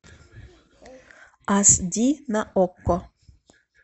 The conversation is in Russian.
аш ди на окко